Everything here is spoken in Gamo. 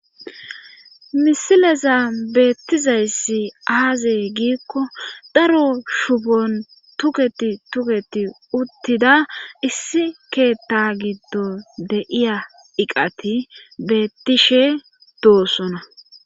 Misileza beettizayssi aazee giikko daro shufon tuketi tuketi uttida issi keetta giddo deiya iqati beettishe doosona